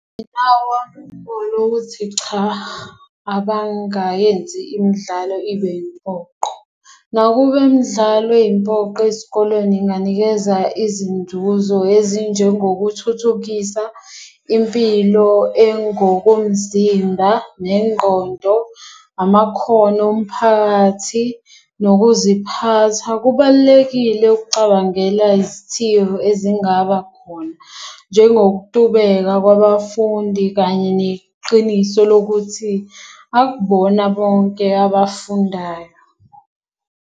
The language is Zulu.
Cha abangayenzi imdlalo ibe impoqo. Nakube imdlalo eyimpoqo esikolweni inganikeza izinzuzo ezinjengo kuthuthukisa impilo engokomzimba nengqondo, amakhono omphakathi, nokuziphatha. Kubalulekile ukucabangela izithiyo ezingaba khona, njengokutubeka kwabafundi kanye neqiniso lokuthi akubona bonke abafundayo.